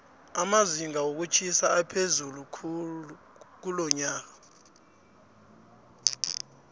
amazinga wokutjhisa aphezulu kulonyoka